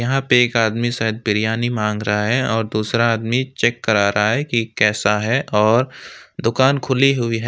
यहां पे एक आदमी शायद बिरयानी मांग रहा है और दूसरा आदमी चेक करा रहा है कि कैसा है और दुकान खुली हुई है।